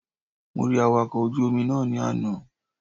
Mo rí Awakọ̀ ojú Omi náà ní àná